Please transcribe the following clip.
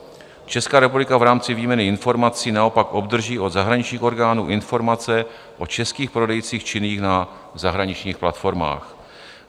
Česká republika v rámci výměny informací naopak obdrží od zahraničních orgánů informace o českých prodejcích činných na zahraničních platformách.